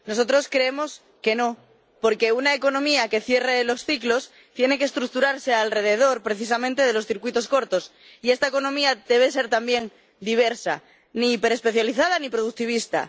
Nosotros creemos que no, porque una economía que cierre los ciclos tiene que estructurarse alrededor, precisamente, de los circuitos cortos, y esta economía debe ser también diversa, ni hiperespecializada ni productivista.